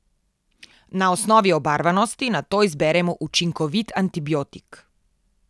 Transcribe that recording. Na osnovi obarvanosti nato izberemo učinkovit antibiotik.